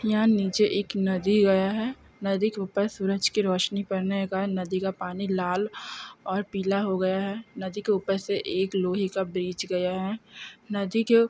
नीचे एक नदी गया है नदी के ऊपर सूरज की रोशनी पढ़ने का नदी का पानी लाल और पीला हो गया है नदी के ऊपर से एक लोहे का ब्रिज गया है नदी के